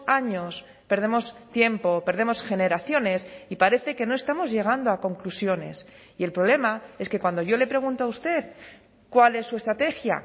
años perdemos tiempo perdemos generaciones y parece que no estamos llegando a conclusiones y el problema es que cuando yo le pregunto a usted cuál es su estrategia